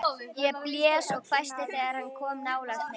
Ég blés og hvæsti þegar hann kom nálægt mér.